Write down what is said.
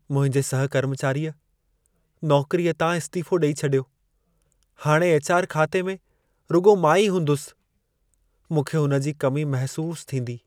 मुंहिंजे सहकर्मचारीअ नौकरीअ तां इस्तीफ़ो ॾेई छॾियो। हाणे एच.आर. खाते में रुॻो मां ई हूंदुसि। मूंखे हुन जी कमी महिसूस थींदी।